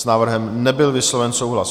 S návrhem nebyl vysloven souhlas.